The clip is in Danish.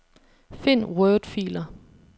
Find wordfiler.